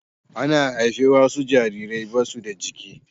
Ana haihuwar wasu jarirai ba su da giki.